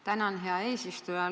Tänan, hea eesistuja!